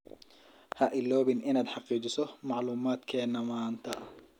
Ha iloobin inaad xaqiijiso macluumaadkena manta.